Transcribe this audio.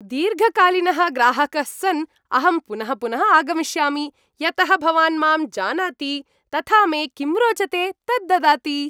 दीर्घकालीनः ग्राहकः सन्, अहं पुनः पुनः आगमिष्यामि, यतः भवान् माम् जानाति, तथा मे किं रोचते तत् ददाति।